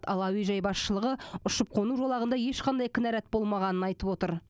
ал әуежай басшылығы ұшып қону жолағында ешқандай кінәрат болмағанын айтып отыр